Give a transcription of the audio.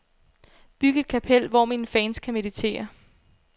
Byg et kapel, hvor mine fans kan meditere.